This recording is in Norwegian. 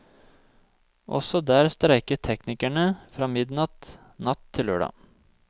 Også der streiker teknikerne fra midnatt natt til lørdag.